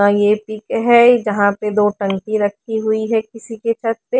ये पीके है जहां पे दो टंकी रखी हुई है किसी के छत पे--